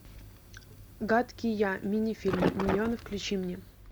гадкий я мини фильмы миньоны включи мне